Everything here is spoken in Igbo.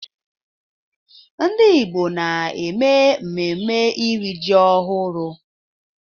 Ndị Igbo na-eme mmemme iri ji ọhụrụ